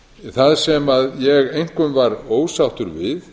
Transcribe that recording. það sem ég einkum var ósáttur við